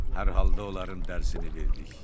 Hər halda onların dərsini verdik.